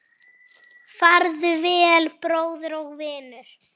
Farðu vel, bróðir og vinur